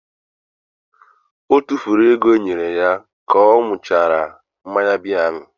O tufuru ego e nyere ya ka ọ ṅụchara mmanya biya ahụ.